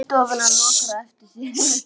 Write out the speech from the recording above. Hún gengur inní stofuna og lokar á eftir sér.